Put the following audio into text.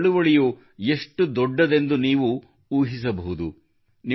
ಈ ಚಳವಳಿಯು ಎಷ್ಟು ದೊಡ್ಡದೆಂದು ನೀವು ಊಹಿಸಬಹುದು